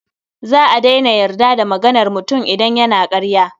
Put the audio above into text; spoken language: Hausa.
Za a daina yarda da maganar mutum idan yana ƙarya.